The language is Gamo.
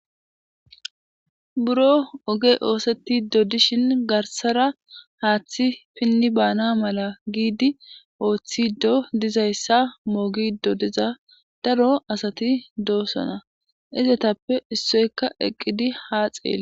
Buro ogey osetidi dishin garisara hathi pini bana mela gidi othizo dizayisa bogizo diza daro asati do'sona izatape issoka eqidi haxeles